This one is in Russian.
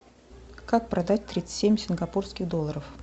как продать тридцать семь сингапурских долларов